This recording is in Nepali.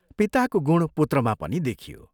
पिताको गुण पुत्रमा पनि देखियो।